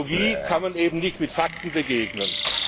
Ideologie kann man eben nicht mit Fakten begegnen.